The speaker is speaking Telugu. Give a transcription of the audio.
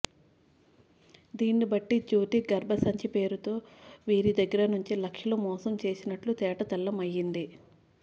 దీన్ని బట్టి జ్యోతి గర్భ సంచి పేరుతో వీరి దగ్గర నుంచి లక్షలు మోసం చేసినట్లు తేటతెల్లంఅయింది